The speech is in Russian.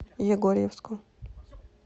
егорьевску